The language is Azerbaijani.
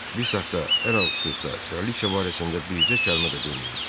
Bir saxdı, ələlxüsus da, kraliça barəsində bircə kəlmə də deməyin.